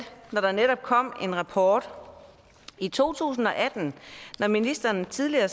at der netop kom en rapport i to tusind og atten når ministeren tidligere